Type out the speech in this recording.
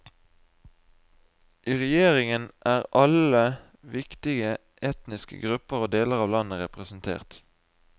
I regjeringen er alle viktige etniske grupper og deler av landet representert.